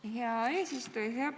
Aitäh, hea eesistuja!